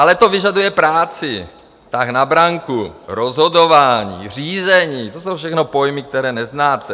Ale to vyžaduje práci, tah na branku, rozhodování, řízení - to jsou všechno pojmy, které neznáte.